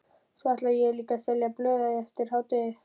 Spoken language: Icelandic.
Svo ætla ég líka að selja blöð eftir hádegi.